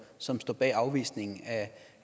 som står bag afvisningen